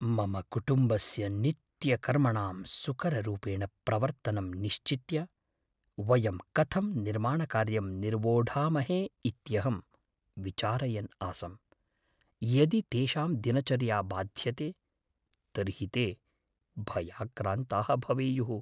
मम कुटुम्बस्य नित्यकर्मणां सुकररूपेण प्रवर्तनं निश्चित्य वयं कथं निर्माणकार्यं निर्वोढामहे इत्यहं विचारयन् आसम्। यदि तेषां दिनचर्या बाध्यते तर्हि ते भयाक्रान्ताः भवेयुः।